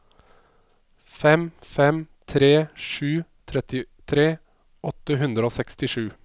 fem fem tre sju trettitre åtte hundre og sekstisju